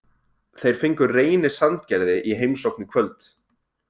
Þeir fengu Reyni Sandgerði í heimsókn í kvöld.